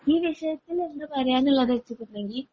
ഈ വിഷയത്തിൽ എന്താന്ന് പറയാന്നുള്ളത് വെച്ചുട്ടുണ്ടെങ്കിൽ